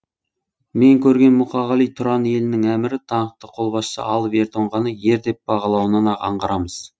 мен көрген мұқағали тұран елінің әмірі даңқты қолбасшы алып ер тоңғаны ер деп бағалауынан ақ аңғарамыз